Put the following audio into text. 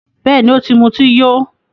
Bẹ́ẹ̀ni, o ti muti yó